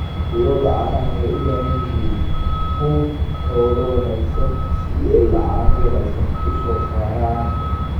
Lo'da caanaha waxay u baahan yihiin quud xoolo wanaagsan si ay caano wanaagsan u soo saaraan.